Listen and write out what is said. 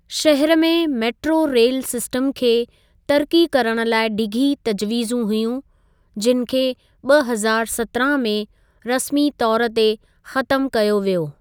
शहर में metro rail system खे तरिक़ी करणु लाइ डिघी तजवीज़ूं हुयूं, जिनि खे ॿ हज़ारु सत्रहां में रस्मी तौर ते ख़तमु कयो वियो।